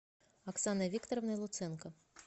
оксаной викторовной луценко